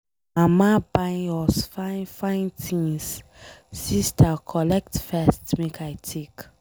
Mama buy us fine fine things, sister collect first make I take.